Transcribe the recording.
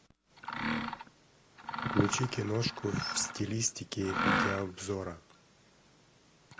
включи киношку в стилистике видеообзора